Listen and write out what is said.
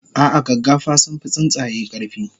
ah ah gaggafa sunfi tsuntsaye karfi